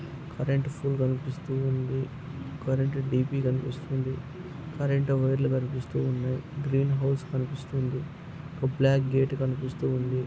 Current pole కనిపిస్త ఉంది current D P కనిపిస్తుంది. కరెంట్ వైర్ లు కనిపిస్త ఉన్నాను గ్రీన్ హౌస్ కనిపిస్తుంది ఒక బ్లాక్ గేట్ కనిపిస్తూ ఉంది.